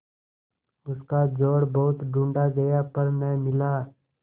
उसका जोड़ बहुत ढूँढ़ा गया पर न मिला